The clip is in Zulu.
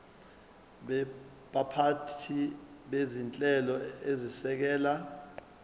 baphathi bezinhlelo ezisekela